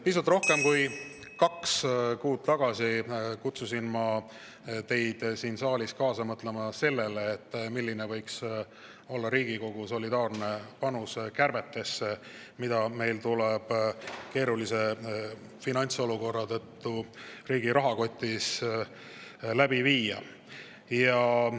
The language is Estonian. Pisut rohkem kui kaks kuud tagasi kutsusin ma teid siin saalis kaasa mõtlema sellele, milline võiks olla Riigikogu solidaarne panus kärbetesse, mida meil tuleb keerulise finantsolukorra tõttu riigi rahakotis.